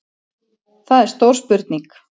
Það er stór spurning